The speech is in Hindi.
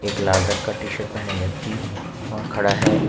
एक लाल रंग का टी शर्ट पहने व्यक्ति वहां खड़ा है।